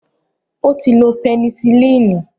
Ó ti lo pẹnicilínì